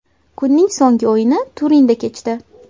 Kunning so‘nggi o‘yini Turinda kechdi.